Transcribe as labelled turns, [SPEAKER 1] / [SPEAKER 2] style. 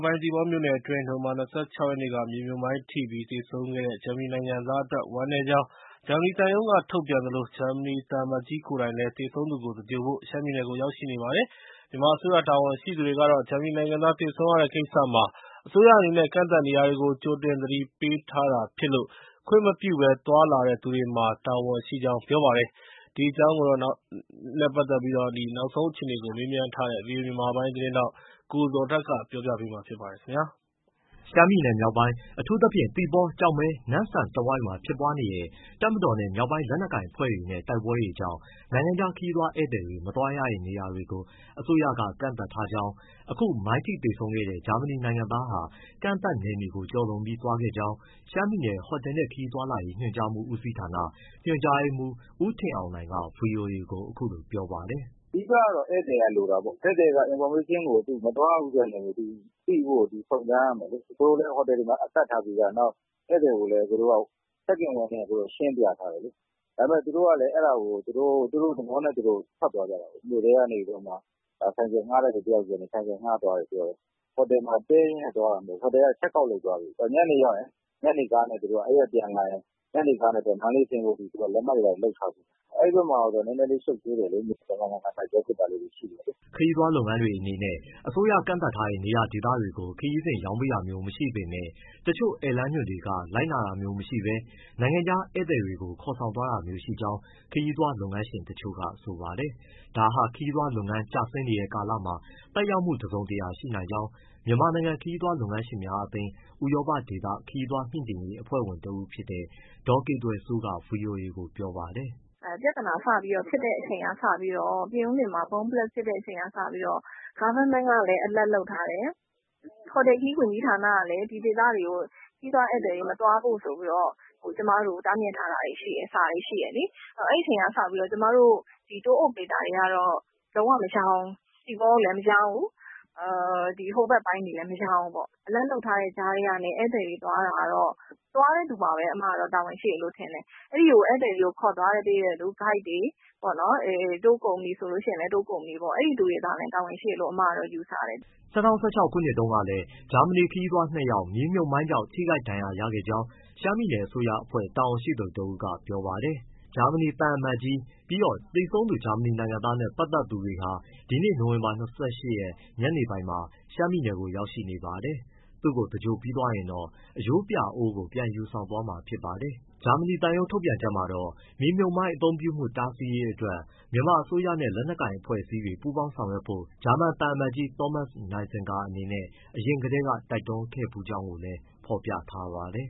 [SPEAKER 1] ပိုင်း သီပေါမြို့နယ်အတွင်း နိုဝင်ဘာ ၂၆ ရက်က မြေမြှုပ်မိုင်းထိပြီး သေဆုံးခဲ့တဲ့ ဂျာမနီနိုင်ငံသားအတွက် ဝမ်းနည်းကြောင်း ဂျာမနီသံရုံးက ထုတ်ပြန်သလို ဂျာမနီသံအမတ်ကြီး ကိုယ်တိုင်လည်း သေဆုံးသူကို သင်္ဂြိုဟ်ဖို့ ရှမ်းပြည်နယ်ကို ရောက်ရှိနေပါတယ်။ မြန်မာအစိုးရ တာဝန်ရှိသူတွေကတော့ ဂျာမနီနိုင်ငံသား သေဆုံးရတဲ့ကိစ္စမှာ အစိုးရအနေနဲ့ ကန့်သတ်နေရာတွေကို ကြိုတင် သတိပေးထားတာဖြစ်လို့ ခွင့်မပြုဘဲ သွားလာတဲ့သူတွေမှာ တာဝန်ရှိကြောင်း ပြောပါတယ်။ ဒီအကြောင်း နောက်ဆုံးအခြေအနေကို မေးမြန်းထားတဲ့ ဗွီအိုအေ မြန်မာပိုင်းသတင်းထောက် ကိုဇော်ထက်က တင်ပြပေးထားပါတယ်
[SPEAKER 2] ။ ရှမ်းပြည်မြောက်ပိုင်း အထူးသဖြင့် သီပေါ၊ ကျောက်မဲ၊ နမ့်ဆန်တဝိုက်မှာ ဖြစ်ပွားနေတဲ့ တပ်မတော်နဲ့ မြောက်ပိုင်းလက်နက်ကိုင်အဖွဲ့တချို့နဲ့ တိုက်ပွဲတွေကြောင့် နိုင်ငံခြား ခရီးသွားဧည့်သည် မသွားရတဲ့ နေရာတွေကို အစိုးရက ကန့်သတ်ထားကြောင်း၊ အခု မိုင်းထိသေဆုံးခဲ့တဲ့ ဂျာမနီနိုင်ငံသားဟာ ကန့်သတ်နယ်နိမိတ်ကို ကျော်လွန်ပြီး သွားခဲ့ကြောင်း ရှမ်းပြည်နယ် ဟိုတယ်နှင့် ခရီးသွား ညွှန်ကြားမှုဦးစီးဌာန ညွှန်ကြားရေးမှူး ဦးထင်အောင်နိုင်က ဗွီအိုအေကို အခုလိုပြောပါတယ်
[SPEAKER 3] ။ “အဓိကတော့ ဧည့်သည်က လိုတာပေါ့။ သူ မသွားရဘူးဆိုတဲ့ နယ်မြေကို သူသိဖို့ စုံစမ်းရမယ်လေ။ ဟိုတယ်တွေမှာ ကပ်ထားပြီးသား။ ဧည့်သည်ကို check in ဝင်တယ်ဆို ရှင်းပြထားတယ်လေ။ ဒါပေမယ့်လည်း သူတို့ကလည်း အဲဒါကို သူတို့သဘောနဲ့သူတို့ ထွက်သွားကြတာလေ၊ မြို့ထဲကနေပြီးတော့မှ ဆိုင်ကယ်ငှားတဲ့သူ တယောက်ဆီကနေ ဆိုင်ကယ်ငှားသွားတယ် ပြောတယ်။ ဟိုတယ်ကနေ check out လုပ်သွားပြီးပြီ။ အဲဒီကပြန်လာရင် ညနေကားနဲ့ မန္တလေးဆင်းဖို့ သူတို့က လက်မှတ်တွေ လုပ်ထားပြီးပြီ။ အဲဒီဘက်မှာ နည်းနည်းလေး ရှုပ်ထွေးတယ်လေ။ ရံဖန်ရံခါ တိုက်ပွဲဖြစ်တာလေးတွေ ရှိတ
[SPEAKER 2] ယ်။” ခရီးသွားလုပ်ငန်းတွေ အနေနဲ့ အစိုးရကန့်သတ်ထားတဲ့ နေရာဒေသတွေကို ခရီးစဉ်ရောင်းပေးတာမျိုး မရှိပေမယ့် တချို့ ဧည့်လမ်းညွှန်တွေက လိုက်နာတာမျိုးမရှိဘဲ နိုင်ငံခြားဧည့်သည်တွေကို ခေါ်ဆောင်သွားတာမျိုး ရှိကြောင်း ခရီးသွားလုပ်ငန်းရှင်တချို့က ဆိုပါတယ်။ ဒါက ခရီးသွားလုပ်ငန်း ကျဆင်းနေတဲ့ကာလမှာ သက်ရောက်မှု တစုံတရာ ရှိနိုင်ကြောင်း မြန်မာနိုင်ငံ ခရီးသွားလုပ်ငန်းရှင်များအသင်း၊ ဥရောပဒေသ ခရီးသွားမြှင့်တင်ရေး အဖွဲ့ဝင်ဖြစ်တဲ့ ဒေါ်ကေသွယ်စိုးက ဗွီအိုအေကို ပြောပါတယ်။
[SPEAKER 4] “ပြဿနာစပြီးဖြစ်တဲ့ အချိန်ကစပြီးတော့ ပြင်ဦးလွင်မှာ bomb blast စပြီးဖြစ်တဲ့ အချိန်ကစပြီးတော့ အစိုးရကလည်း alert လုပ်ထားတယ်၊ ဟိုတယ်ခရီး ဝန်ကြီးဌာနကလည်း ဒီဒေသတွေကို ခရီးသွားဧည့်သည်တွေ မသွားဖို့ဆိုပြီးတော့ ကျမတို့ကို တားမြစ်ထားတာတွေရှိတယ်။ အဲဒီအချိန်ကစပြီးတော့ ကျမတို့ Tour operator တွေကတော့ သီပေါကိုလည်း မရောင်းဘူး၊ ဟိုဘက်ပိုင်းတွေလည်း မရောင်းဘူးပေါ့။ alert လုပ်ထားတဲ့ကြားကနေ ဧည့်သည်တွေ သွားတာကတော့ သွားတဲ့သူမှာပဲ တာဝန်ရှိတယ်လို့ ထင်တယ်။ ခေါ်သွားပေးတဲ့ ဂိုက်တွေ၊ tour company ဆိုလည်း အဲဒီသူတွေမှာ တာဝန်ရှိတယ်လို့ ထင်တယ်။
[SPEAKER 2] ” ၂၀၁၆ ခုနှစ်တုန်းကလည်း ဂျာမနီ ခရီးသွား ၂ ယောက် မြေမြှုပ်မိုင်းကြောင့် ထိခိုက်ဒဏ်ရာ ရခဲ့ကြောင်း ရှမ်းပြည်နယ် အစိုးရအဖွဲ့ တာဝန်ရှိသူတဦးက ပြောပါတယ်။ ဂျာမနီသံအမတ်ကြီးနဲ့ သေဆုံးသူ ဂျာမနီနိုင်ငံသားနဲ့ ပတ်သက်သူတွေဟာ ဒီနေ့ နိုဝင်ဘာ ၂၈ ညနေပိုင်းမှာ ရှမ်းပြည်နယ်ကို ရောက်ရှိနေပါတယ်။ သူ့ကို သင်္ဂြိုဟ်ပြီးသွားရင်တော့ အရိုးပြာအိုးကို ပြန်ယူဆောင်သွားမှာ ဖြစ်ပါတယ်။ ဂျာမနီသံရုံး ထုတ်ပြန်ချက်မှာတော့ မြေမြှုပ်မိုင်း အသုံးပြုမှု တားဆီးရေးအတွက် မြန်မာအစိုးရနဲ့ လက်နက်ကိုင်အဖွဲ့အစည်းတွေ ပူးပေါင်းဆောင်ရွက်ဖို့ ဂျာမန်သံအမတ်ကြီး သောမတ်စ် နိုင်ဇင်ဂါအနေနဲ့ အရင်ကတည်းက တိုက်တွန်းထားခဲ့ဖူးကြောင်းကိုလည်း ဖော်ပြထားပါတယ်။